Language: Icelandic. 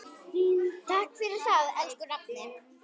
Takk fyrir það, elsku nafni.